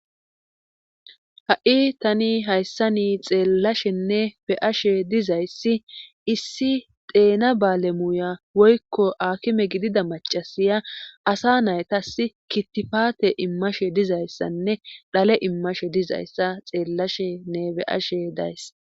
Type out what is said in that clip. Ha.i tani hayssa ni xeellashenne be7ashe dizayssi issi deena baale muuya woykko aakime gidida macasiya asa naytas kittifate immashe dizayssanne dhale immashe dizayssa xeellashenne be7ashe days